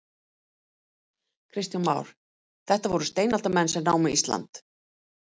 Kristján Már: Þetta voru steinaldarmenn sem námu Ísland?